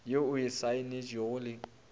ye o e saenetšego le